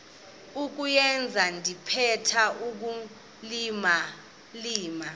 kuyenza ndithetha ukulilima